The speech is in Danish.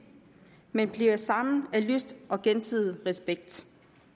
men bliver sammen af lyst og gensidig respekt